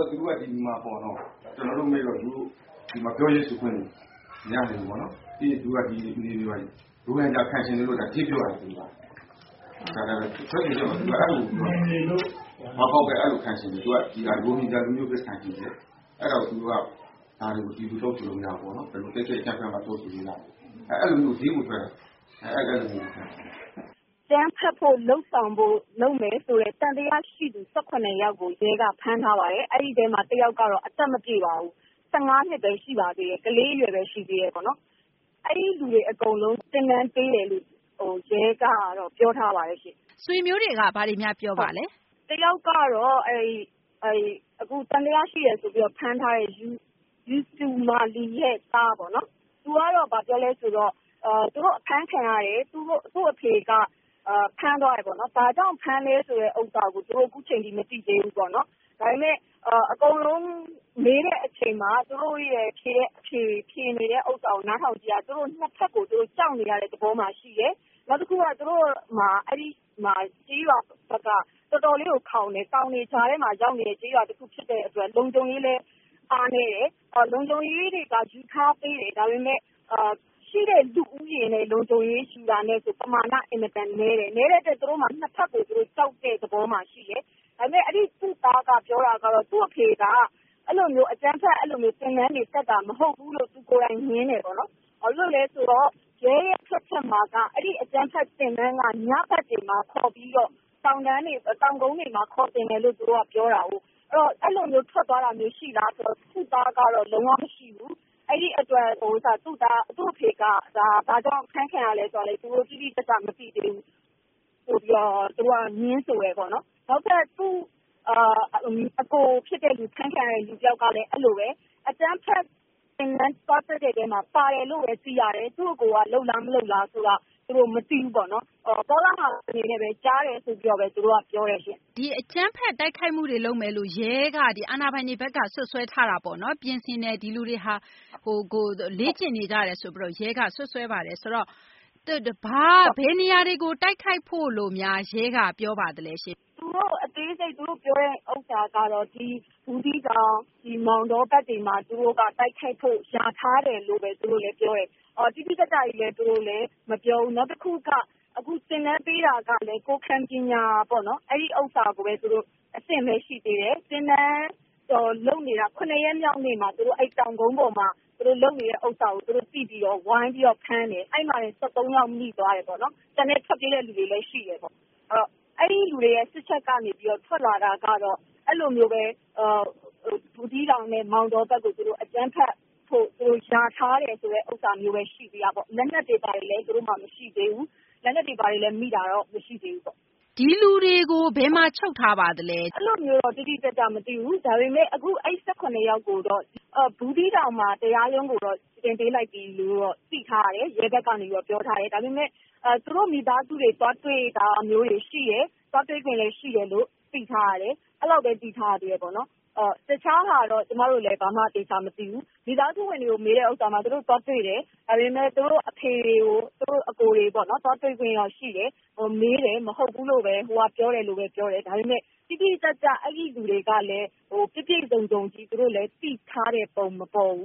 ော့ သူတိ့ုက ဒီမှာပေါ့နော် ကျနော်တို့ မေးတော့ သူတို့ ဒီမှာ ပြောရေးဆိုခွင့်တွေ ရချင်လို့ ပေါ့နော်။ နောက်ပြီး သူတို့က ဒီနယ်မြေမှာ ရိုဟင်ဂျာ ခံချင်တယ်လို့ ဒဲ့ပြောတာနော်။ ထွက်ဆိုချက်မှာ အဲလိုကို ပြောတာ။ သူတို့က ရိုဟင်ဂျာ လူမျိုးဘဲ ခံချင်တယ်။ အဲတော့ သူတို့က ဒါတွေကို ဒီလိုတောင်းဆိုလို့ မရဘူးပေါ့နော်။ ဒီလို အကြမ်းဖက်မှ တောင်းဆိုလို့ ရမယ် အဲလိုကို ဒဲ့ကို ထွက်တာ။ ” အကြမ်းဖက်ဖို့ လုပ်ဆောင်ဖို့ လုပ်မယ်ဆိုတဲ့ သံသယရှိသူ ၁၇ ယောက်ကို ရဲကဖမ်းထားပါတယ်။ အဲဒီထဲမှာ ၁ ယောက်ကတော့ အသက်မပြည့်ပါဘူး။ ၁၅ နှစ်ပဲရှိသေးတယ် ကလေးအရွယ်ပဲရှိသေးပါတယ်။ အဲဒီလူတွေအကုန်လုံး သင်တန်းပေးတယ်ဆိုပြီးတော့ ရဲကပြောထားပါတယ်။ ဆွေမျိုးတွေက ဘာများပြောပါသလဲ။ အခုသံသယရှိတယ်ဆိုပြီး ဖမ်းထားတဲ့ ယူတူမာလီရဲ့သား ကတော့ သူကတော့ ဘာပြောသလဲဆိုတော့ သူတို့အဖမ်းခံရတယ်။ သူ့အဖေက ဖမ်းသွားတယ်ပေါ့နော်။ ဘာကြောင့်ဖမ်းသလဲဆိုတာကိုတော့ သူတို့အခုအချိန်အထိ မသိသေးဘူးပေါ့နော်။ ဒါပေမယ့် အကုန်လုံးမေးတဲ့အချိန်မှာ သူတို့ဖြေနေတာကို နားထောင်ကြည့်ရင် ၂ ဘက်ကို ကြောက်နေတဲ့ သဘောမှာရှိတယ်။ နောက်တခုက သူတို့ အဲဒီကျေးရွာဘက်က တော်တော်လေးကို ခေါင်တယ်။ တောင်တွေကြားထဲမှာ ရောက်နေတဲ့ ကျေးရွာတခုဖြစ်တဲ့အတွက် လုံခြုံရေးလည်း အားနည်းတယ်။ လုံခြုံရေးတွေက ယူထားပေးပေမယ့် ရှိတဲ့လူဦးရေနဲ့က ပမာဏ အင်မတန်နည်းတယ်။ နည်းတဲ့အတွက် သူတို့က ၂ ဘက်ကို ကြောက်တဲ့သဘောမှာရှိတယ်။ ဒါပေမယ့် အဲဒီသူ့သားက ပြောတာကတော့ သူ့အဖေက အဲဒီလို အကြမ်းဖက် သင်တန်းတွေ တက်တယ်ဆိုတာ မဟုတ်ဘူးလို့ သူကိုယ်တိုင် ငြင်းတယ်ပေါ့နော်။ ရဲရဲ့ ထွက်ချက်မှာတော့ အဲဒီ အကြမ်းဖက် သင်တန်းက ညဘက်တွေမှာ ခေါ်ပြီးတော့ တောင်ကုန်းတွေမှာ ခေါ်သင်တာလို့ သူတို့က ပြောတာကိုး။ အဲဒီတော့ အဲလို ထွက်သွားတာမျိုး ရှိလာလို့ မေးတော့ သူ့သားကတော့ လုံး၀ မရှိဘူး။ သူ့အဖေက ဘာကြောင့် ဖမ်းခံရသလဲ ဆိုတာကိုလည်း သူတို့ တိတိကျကျ မသိသေးဘူး ဆိုပြီးတော့ ငြင်းဆိုတယ်ပေါ့နော်။ နောက်ထပ် အကိုဖြစ်တဲ့သူ အဖမ်းခံရတဲ့ သူကလည်း အဲလိုဘဲပေါ့နော်။ အကြမ်းဖက် သင်တန်း သွားတက်တဲ့ အထဲမှာ ပါတယ်လို့ဘဲ သိရတယ်။ သူ့အကိုက လုပ်လား မလုပ်လားဆိုတာကိုတော့ သူတို့ မသိဘူးပေါ့နော်။ ကောလာဟလ အနေနဲ့ဘဲ ကြားတယ်လို့ဘဲ သူတို့က ပြောတယ်ရှင့်။ အကြမ်းဖက် တိုက်ခိုက်မှုတွေ လုပ်မယ်လို့ ရဲက၊ အာဏာပိုင်တွေဘက်က စွပ်စွဲထားတာပေါ့နော်။ ဒီလူတွေဟာ လေ့ကျင့်နေကြပါတယ်လို့ ရဲက စွပ်စွဲပါတယ်။ ဆိုတော့ ဘယ်နေရာတွေ တိုက်ခိုက်ဖို့လို့များ ရဲက ပြောပါသလဲ။ သူတို့ အသေးစိတ် သူတို့ ပြောတာကတော့ ဘူးသီးတောင်၊ မောင်တော ဘက်တွေမှာ သူတို့က တိုက်ခိုက်ဖို့ လျာထားတယ်လို့ဘဲ သူတို့ လည်း ပြောတယ်။ တိတိကျကျကြီးလည်း သူတို့လည်း မပြောဘူး။ နောက်တခုက အခု သင်တန်းပေးတာကလည်း ကိုယ်ခံပညာပေါ့နော် အဲဒီ အဆင့်ဘဲ ရှိသေးတယ်။ သင်တန်းတော့ လုပ်နေတာ ၇ ရက်မြောက်နေ့မှာ သူတို့ တောင်ကုန်းပေါ်မှာ သူတို့ လုပ်နေတာကို သူတို့ သိပြီးတော့ ဝိုင်းပြီးတော့ ဖမ်းတယ်။ အဲဒီမှာဘဲ ၁၃ ယောက် မိသွားတယ်ပေါ့နော်။ ကျန်တဲ့ ထွက်ပြေးတဲ့သူတွေလည်း ရှိတယ်ပေါ့။ အဲဒီလူတွေရဲ့ စစ်ချက်ကနေ ထွက်လာတာကတော့ အဲလိုမျိုးဘဲ ဘူးသီးတောင်နဲ့ မောင်တောဘက်ကို အကြမ်းဖက်ဖို့ လျာထားတယ် ဆိုတာမျိုးဘဲ ရှိသေးတာပေါ့။ လက်နက်တွေ ဘာတွေလည်း သူတို့မှာ မရှိသေးဘူး။ လက်နက်တွေ ဘာတွေလည်း မိတာတော့ မရှိသေးဘူးပေါ့။ ဒီလူတွေကို ဘယ်မှာ ချုပ်ထားပါသလဲ။ အဲလိုမျိုးတော့ တိတိကျကျ မသိဘူး။ ဒါပေမယ့် အခု အဲဒီ ၁၇ ယောက်ကိုတော့ ဘူးသီးတောင် တရားရုံးကိုတော့ တင်ပေးလိုက်ပြီလို့တော့ သိထားရတယ်။ ရဲ ဘက်ကနေ ပြောထားတယ်။ ဒါပေမယ့် သူတို့ မိသားစုတွေ သွားတွေ့တာမျိုးတွေ ရှိတယ်။ သွားတွေ့ခွင့်လည်း ရှိတယ်လို့ သိထားရတယ်။ အဲလောက်ဘဲ သိထားရသေးတယ်ပေါ့နော်။ တခြားဟာတော့ ကျမတို့လည်း ဘာမှ သေချာ မသိဘူး။ မိသားစုဝင်တွေကို မေးတဲ့ အခါမှာ သူတို့ သွားတွေ့တယ်။ သူတို့ အဖေတွေ သူတို့ အကိုတွေကို သွားတွေ့ခွင့်တော့ ရှိတယ်၊ မေးတယ် မဟုတ်ဘူးလို့ဘဲ ဟိုက ပြောတယ်လို့ဘဲ ပြောတယ်။ ဒါပေမယ့် တိတိကျကျ အဲဒီလူတွေကလည်း ပြည့်ပြည့်စုံစုံကြီး သိထားတဲ့ပုံ မပေါ်ဘ